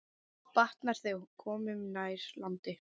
Batnar, þegar komum nær landi.